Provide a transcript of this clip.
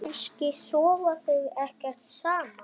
Kannski sofa þau ekkert saman?